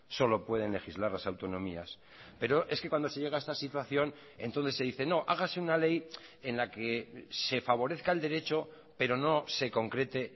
solo pueden legislar las autonomías pero es que cuando se llega a esta situación entonces se dice no hágase una ley en la que se favorezca el derecho pero no se concrete